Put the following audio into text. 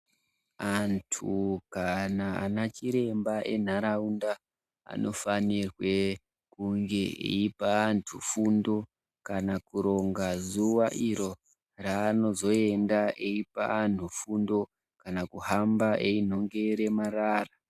Antu kana anachiremba enharaunda anofanirwe kunge eipa antu fundo kana kuronga zuwa iro raanozoenda eipa anhu fundo kana kuhamba einhongere marara.